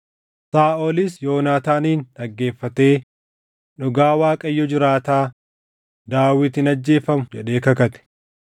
Saaʼolis Yoonaataanin dhaggeeffatee, “Dhugaa Waaqayyo jiraataa, Daawit hin ajjeefamu” jedhee kakate.